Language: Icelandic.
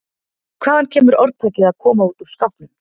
Hvaðan kemur orðtakið að koma út úr skápnum?